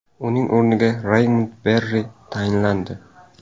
Uning o‘rniga Raymond Barre tayinlandi.